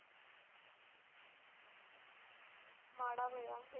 ਮਾੜਾ ਹੋਇਆ।